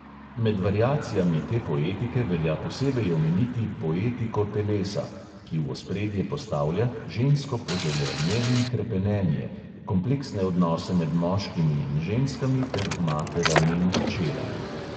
Med variacijami te poetike velja posebej omeniti "poetiko telesa", ki v ospredje postavlja (pogosto zafrustrirano) žensko poželenje in hrepenenje, kompleksne odnose med moškimi in ženskami ter materami in hčerami.